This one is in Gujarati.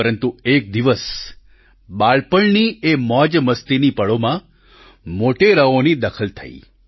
પરંતુ એક દિવસ બાળપણની એ મોજમસ્તીની પળોમાં મોટેરાઓની દખલ થઇ